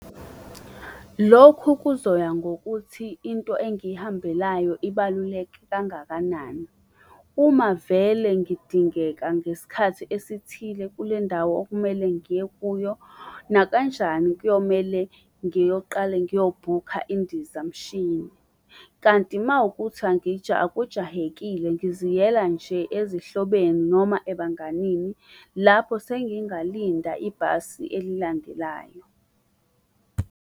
Lokhu kuzoya ngokuthi into engihambelayo ibaluleke kangakanani. Uma vele ngidingeka ngesikhathi esithile kulendawo okumele ngiye kuyo nakanjani kuyomele ngiyoqale ngiyobhukha indizamshini. Kanti mawukuthi akujahekile ngiziyela nje ezihlobeni noma ebanganini, lapho sengingalinda ibhasi elilandelayo.